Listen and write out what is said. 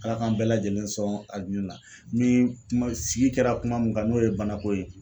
Ala k'an bɛɛ lajɛlen sɔn arijinɛ la ni kuma sigi kɛra kuma min kan n'o ye banako ye.